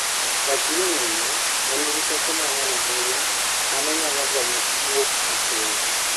"Wach ni 'ng'injo' ne nigi teko mang'eny ahinya ma ne nyalo gonya wuok e koyo.